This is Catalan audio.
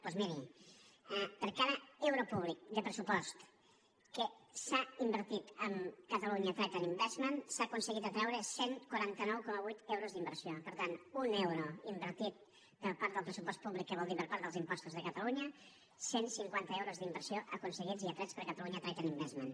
doncs miri per cada euro públic de pressupost que s’ha invertit en catalonia trade investment s’han aconseguit atreure cent i quaranta nou coma vuit euros d’inversió per tant un euro invertit per part del pressupost públic que vol dir per part dels impostos de catalunya cent i cinquanta euros d’inversió aconseguits i atrets per catalonia trade investment